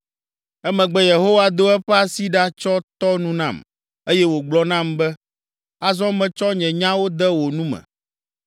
Emegbe Yehowa do eƒe asi ɖa tsɔ tɔ nu nam eye wògblɔ nam be, “Azɔ metsɔ nye nyawo de wò nu me.